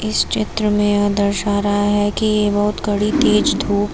इस चित्र में यह दर्शा रहा है कि बहुत कड़ी तेज धूप--